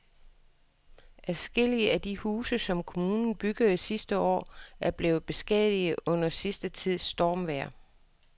Adskillige af de huse, som kommunen byggede sidste år, er blevet beskadiget under den sidste tids stormvejr.